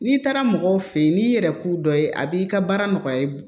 N'i taara mɔgɔw fe yen n'i yɛrɛ ku dɔ ye a b'i ka baara nɔgɔya